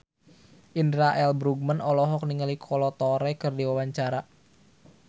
Indra L. Bruggman olohok ningali Kolo Taure keur diwawancara